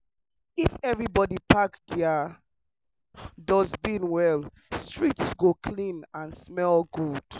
if everybody pack their dustbin well street go clean and smell good.